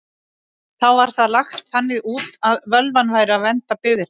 Þá var það lagt þannig út að völvan væri að vernda byggðirnar.